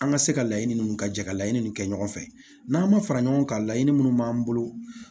An ka se ka laɲini minnu ka jɛ ka laɲini ninnu kɛ ɲɔgɔn fɛ n'an ma fara ɲɔgɔn kan laɲini minnu b'an bolo